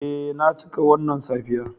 Eh na cika wannan safiya.